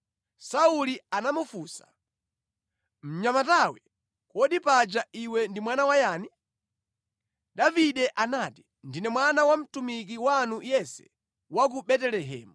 Sauli anamufunsa, “Mnyamata iwe, kodi paja ndiwe mwana wayani?” Davide anati, “Ndine mwana wa mtumiki wanu Yese wa ku Betelehemu.”